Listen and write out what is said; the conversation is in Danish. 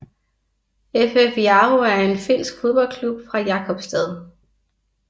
FF Jaro er en finsk fodboldklub fra Jakobstad